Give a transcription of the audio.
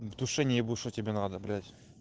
в душе не ебу что тебе надо блять